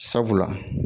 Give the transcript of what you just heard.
Sabula